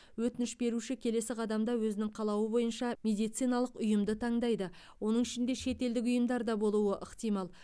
өтініш беруші келесі қадамда өзінің қалауы бойынша медициналық ұйымды таңдайды оның ішінде шетелдік ұйымдар да болуы ықтимал